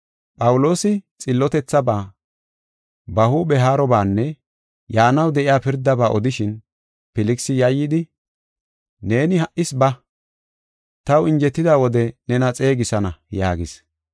Phawuloosi xillotethabaa, ba huuphe haarobaanne yaanaw de7iya pirdaba odishin, Filkisi yayyidi, “Neeni ha77is ba; taw injetida wode nena xeegisana” yaagis.